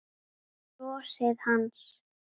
Brosið hans.